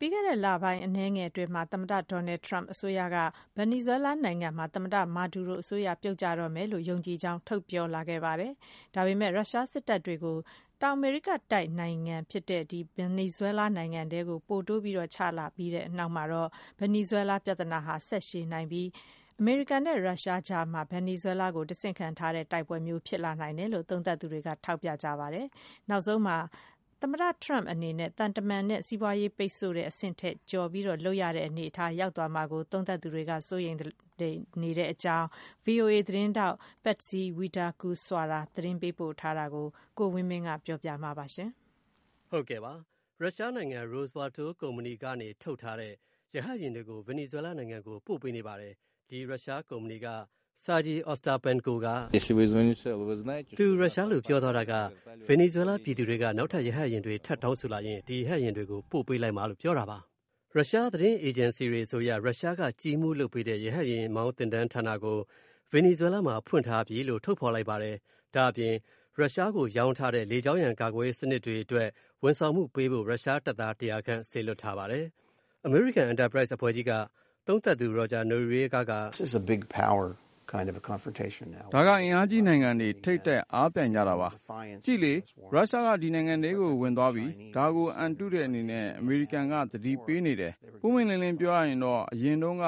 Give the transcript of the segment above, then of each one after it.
ပြီးခဲ့တဲ့ လပိုင်းအနည်းငယ်အတွင်းမှာ သမ္မတ Donald Trump အစိုးရ က Venezuela နိုင်ငံမှာ သမ္မတ မာဒူရို အစိုးရ ပြုတ်ကျတော့မယ်လို့ ယုံကြည်ကြောင်း ထုတ်ပြောလာခဲ့ပါတယ်။ ဒါပေမဲ့ ရုရှားစစ်တပ်တွေကို ဒီ တောင်အမေရိကတိုက် နိုင်ငံထဲ ပို တိုးချလိုက် အပြီးမှာတော့ ဒီ Venezuela ပြဿနာက ဆက်ရှည်နိုင်ပြီး၊ အမေရိကန်နဲ့ ရုရှားအကြား၊ တဆင့်ခံလူငှားတိုက်ပွဲ ဖြစ်လာနိုင်တယ်လို့ သုံးသပ်သူတွေက ထောက်ပြနေပါတယ်။ နောက်ဆုံးမှာ သမ္မတ Trump အနေနဲ့ သံတမန်ရေးနဲ့ စီးပွားရေး ပိတ်ဆို့တဲ့အဆင့်ထက် ကျော်လုပ်ရတဲ့အနေအထား ရောက်သွားမှာကို သုံးသပ်သူတွေက စိုးရိမ်နေတာကို VOA သတင်းထောက် Patsy Widakuswara သတင်းပို့ထားတာကို ကိုဝင်းမင်းက ပြောပြမှာပါ။ ရုရှားနိုင်ငံ Rostvertol ကုမ္ပဏီကနေ ထုတ်ထားတဲ့ ရဟတ်ယာဉ်တွေကို Venezuela နိုင်ငံကို ပို့ပေးနေပါတယ်။ ဒီ ရုရှားကုမ္ပဏီကနေ Sergei Ostapenko ကို က “ ဗင်နီဇွဲလားပြည်သူတွေက နောက်ထပ် ရဟတ်ယာဉ်တွေ ထပ်တောင်းဆို လာရင် ဒီရဟတ်ယာဉ်တွေကို ပေးလိုက်မှာပါ။” ရုရှားသတင်း အေဂျင်စီတွေအဆိုအရ ရှရှားက ကြီးမှုးပြီးလုပ်ပေးတဲ့ ရဟတ်ယာဉ်မောင်းဌာနကို Venezuela မှာ ဖွင့်ထားပြီလို့ ထုတ်ဖော်လိုက်ပါတယ်။ ဒါ့အပြင် ရှရှားကိုရောင်းထားတဲ့ လေကြောင်းရန်ကာကွယ်ရေးစနစ်တွေ ဝန်ဆောင်မှုပေးဖို့ ရှရှားတပ်သား ၁၀၀ ခန့် စေလွှတ်ထားပါတယ်။ အမေရိကန် Enterprise အဖွဲ့ကြီးမှ သုံးသပ်သူ Roger Noriega က “ဒါက အင်အားကြီး နိုင်ငံတွေ ထိပ်တိုက်အားပြိုင်ကြတာပါ။ ကြည့်လေ ရုရှားက ဒီနိုင်ငံထဲကို ဝင်သွားပြီ၊ ဒါကို အံတုတဲ့အနေနဲ့ အမေရိကန်က သတိပေးနေတယ်။ ပွင့်ပွင့်လင်းလင်းပြောရရင် အရင်တုန်းက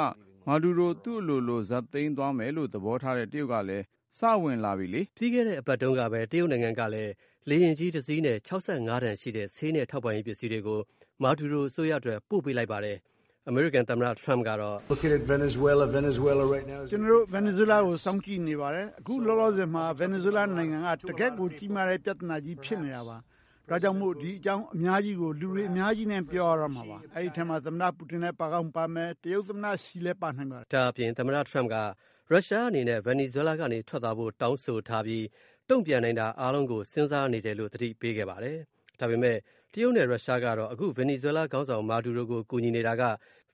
မာဒူရို သူ့အလိုလို ဇတ်သိမ်းသွားမယ်လို့ သဘောထားတဲ့ တရုတ် ကလည်း စဝင်လာနေပြီလေ။” ပြီးခဲ့တဲ့ အပတ်က တရုတ်နိုင်ငံကလည်း လေယာဉ်ကြီးတစီးနဲ့ ၆၅ တန်ရှိတဲ့ ထောက်ပံ့ရေးပစ္စည်းတွေကို မာဒူရို အစိုးရအတွက် ပို့ပေးလိုက်ပါတယ်။ အမေရိကန်သမ္မတ Trump ကတော့ “ကျွန်တော်တို့ ဗင်နီဇွဲလားကို စောင့်ကြည့်နေပါတယ်။ အခုလောလောဆယ် ဗင်နီဇွဲလားမှာက တကယ့်ကိုကြီးမားတဲ့ပြဿနာကြီး ဖြစ်နေပါတယ်။ ဒါကြောင့်မို့ ဒီအကြောင်း အများကြီးကို လူတွေအများကြီးနဲ့ ပြောရတော့မှာပါ၊ ဒီထဲမှာ သမ္မတ ပူတင် ပါကောင်းပါမယ်၊ တရုတ်သမ္မတ ရှီ လဲ ပါနိုင်တယ်။” ဒါ့အပြင် သမ္မတ Trump က ရှရှားအနေနဲ့ Venezuela ကနေ ထွက်သွားဖို့ တောင်းဆိုထားပြီး တုံ့ပြန်နိုင်တာအားလုံးကို စဉ်းစားနေတယ်လို့ သတိပေးလိုက်ပါတယ်။ ဒါပေမယ့် တရုတ်နဲ့ ရုရှားကတော့ အခု Venezuela ခေါင်းဆောင် မာဒူရိုကို ကူညီနေတာက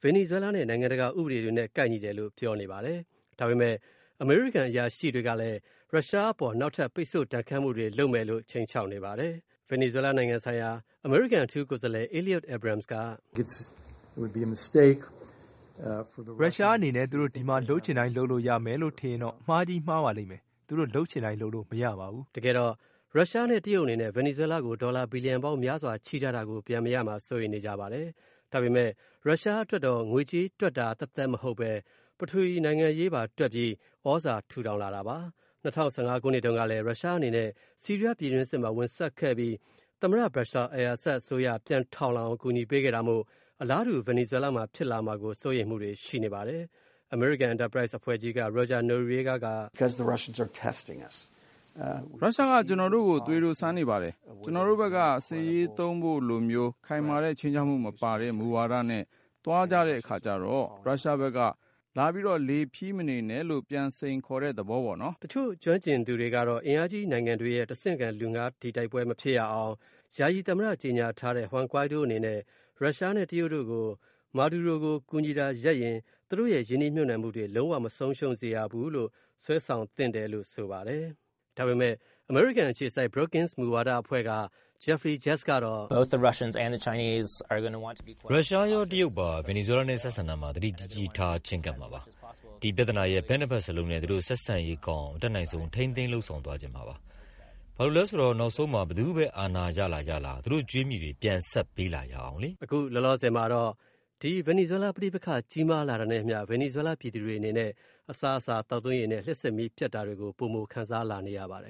Venezuela နဲ့ နိုင်ငံတကာ ဥပဒေတွေနဲ့ ကိုက်ညီတယ်လို့ ပြောနေပါတယ်။ ဒါပေမယ့် အမေရိကန်အရာရှိတွေကလည်း ရုရှားအပေါ် နောက်ထပ်ပိတ်ဆို့ဒဏ်ခတ်မှုတွေ လုပ်မယ်လို့ ခြိမ်းခြောက်နေပါတယ်။ Venezuela နိုင်ငံဆိုင်ရာ အမေရိကန်အထူးကိုယ်စားလှယ် Elliott Abrams က “ရုရှားအနေနဲ့ သူတို့ဒီမှာ လုပ်ချင်တိုင်းလုပ်လို့ရမယ်လို့ ထင်ရင်တော့ အမှားကြီးမှားပါလိမ့်မယ်၊ သူတို့ လုပ်ချင်တိုင်းလုပ်လို့မရပါဘူး။” တကယ်တော့ ရုရှားနဲ့ တရုတ်အနေနဲ့ Venezuela ကို ဒေါ်လာဘီလံပေါင်း များစွာချေးထားတာကို ပြန်မရမှာ စိုးရိမ်နေကြပါတယ်။ ဒါပေမယ့် ရုရှားအတွက်တော့ ငွေကြေးတွက်တာ သပ်သပ်မဟုတ်ပဲ ပထဝီ နိုင်ငံရေးသာ တွက်ပြီး သြဇာထူထောင်လာတာပါ။ ၂၀၁၅ တုန်းကလည်း ရုရှား အနေနဲ့ ဆီးရီးယားပြည်တွင်းစစ်မှာ ဝင်စွက်ခဲ့ပြီး သမ္မတ Bashar al-Assad အစိုးရ ပြန်လည်ထူထောင်လာနိုင်အောင် အကူအညီပေးခဲ့တာမို့ အလားတူ Venezuela မှာဖြစ်လာမှာကို စိုးရိမ်မှုတွေ ရှိနေပါတယ်။ အမေရိကန် Enterprise အဖွဲ့က Roger Noriega က “ရုရှားက ကျွန်တော်တို့ကို သွေးတိုးစမ်းနေပါတယ်။ ကျွန်တော်တို့ဖက်က စစ်ရေးသုံးဖို့လိုမျိုး ခိုင်မာတဲ့ခြိမ်းခြောက်မှု မပါတဲ့ မူဝါဒနဲ့ သွားတဲ့အခါကြတော့ ရုရှားဖက်က လာလေဖီးမနေနဲ့လို့ ပြန်စိန်ခေါ်လာတဲ့သဘောပေါ့နော်။” တချို့ကျွမ်းကျင်သူတွေကတော့ အင်အားကြီးနိုင်ငံရဲ့ တဆင့်ခံလူဌားတိုက်ပွဲ မဖြစ်ရအောင် ယာယီသမ္မတ ကြေညာထားတဲ့ Juan Guaidó အနေနဲ့ ရုရှားနဲ့ တရုတ်တို့ကို မာဒူရိုကို ကူညီတာရပ်ရင် သူတို့ရင်းနှီးမြုပ်နှံမှုတွေ လုံး၀ မဆုံးရှုံးစေရဘူးလို့ စွဲဆောင်သင့်တယ်လို့ ဆိုပါတယ်။ အမေရိကန်အခြေစိုက် Brookings မူဝါဒ အဖွဲ့က Geoffrey Gertz ကတော့ “ရုရှားရော တရုတ်ပါ ဗင်နီဇွဲလားနဲ့ ဆက်ဆံရာမှာ သတိကြီးကြီးထား ချည်းကပ်မှာပါ။ ဒီ ပြဿနာရဲ့ ဘက်နှစ်ဘက်လုံးနဲ့ သူတို့ ဆက်ဆံရေးကောင်းအောင် အတတ်နိုင်ဆုံး ထိန်းသိမ်း လုပ်ဆောင်သွားချင်မှာပါ။ ဘာလို့လဲဆိုတော့ နောက်ဆုံးမှာ ဘယ်သူဘဲ အာဏာရလာ ရလာ သူတို့ကြွေးမှီတွေ ပြန်ဆပ်ပေးလာအောင်လေ။” အခုလောလောဆယ်မှာတော့ ဗင်နီဇွဲလား ပဋိပက္ခကြီးမားလာတာနဲ့ အမျှ ဗင်နီဇွဲလား ပြည်သူတွေအနေနဲ့ အစားအစာ ၊ သောက်သုံးရေတွေနဲ့ လျှပ်စစ်မီးပျက်တာတွေကို ပိုမို ခံစားလာနေရပါတယ်